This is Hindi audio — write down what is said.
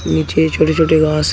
नीचे छोटे छोटे घास है।